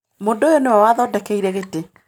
Mũndũ ũyũ nĩwe wa thondekire gĩtĩ.